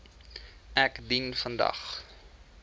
ek dien vandag